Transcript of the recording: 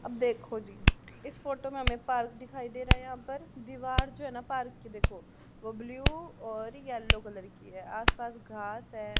अब देखो जी इस फोटो में हमें पार्क दिखाई दे रहा है यहां पर दीवार जो है ना पार्क के देखो वो ब्लू और येलो कलर की है आस पास घास है।